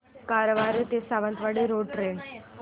कारवार ते Sawantwadi road train